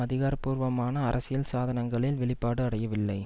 அதிகார பூர்வமான அரசியல் சாதனங்களில் வெளிப்பாடு அடையவில்லை